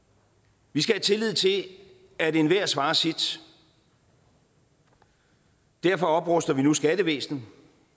vi skal have tillid til at enhver svarer sit og derfor opruster vi nu skattevæsenet